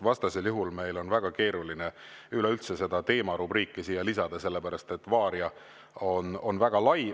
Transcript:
Vastasel juhul meil on väga keeruline üleüldse seda teema rubriiki siia lisada, sellepärast et "Varia" on väga lai.